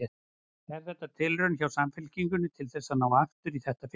Er þetta tilraun hjá Samfylkingunni til þess að ná aftur í þetta fylgi?